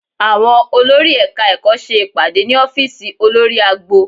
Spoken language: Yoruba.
Àwọn olórí Ẹ̀ka-ẹ̀kọ́ ṣe ìpàdé ní ọ́fíìsì olórí agbo